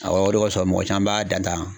o de kosɔn mɔgɔ caman b'a dan tan.